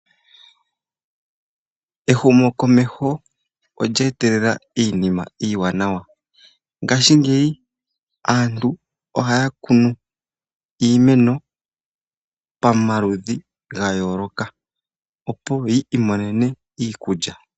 Ehumokomeho olya etelela iinima iiwanawa, ngashingeyi aantu oha ya kunu iimeno pamaludhi ga yooloka opo yi imonene iikulya.